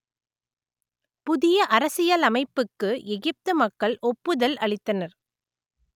புதிய அரசியலமைப்புக்கு எகிப்து மக்கள் ஒப்புதல் அளித்தனர்